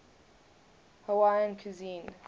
hawaiian cuisine